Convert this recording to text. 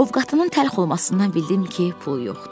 Ovuqatının təlğ olmasından bildim ki, pul yoxdur.